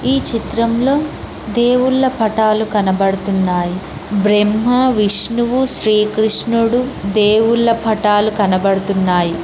ఈ చిత్రంలో దేవుళ్ళ పటాలు కనబడుతున్నాయి బ్రహ్మ విష్ణువు శ్రీకృష్ణుడు దేవుళ్ళ పటాలు కనబడుతున్నాయి.